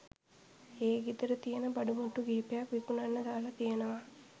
ඒ ගෙදර තියෙන බඩුමුට්ටු කිහිපයක් විකුණන්න දාලා තියෙනවා